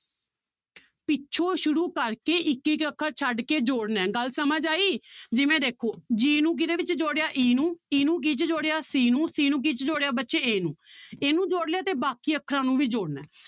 ਪਿੱਛੋਂ ਸ਼ੁਰੂ ਕਰਕੇ ਇੱਕ ਇੱਕ ਅੱਖਰ ਛੱਡ ਕੇ ਜੋੜਨਾ ਹੈ ਗੱਲ ਸਮਝ ਆਈ ਜਿਵੇਂ ਦੇਖੋ g ਨੂੰ ਕਿਹਦੇ ਵਿੱਚ ਜੋੜਿਆ e ਨੂੰ e ਨੂੰ ਕਿਹ 'ਚ ਜੋੜਿਆ c ਨੂੰ c ਨੂੰ ਕਿਹ 'ਚ ਜੋੜਿਆ ਬੱਚੇ a ਨੂੰ ਇਹਨੂੰ ਜੋੜ ਲਿਆ ਤੇ ਬਾਕੀ ਅੱਖਰਾਂ ਨੂੰ ਵੀ ਜੋੜਨਾ ਹੈ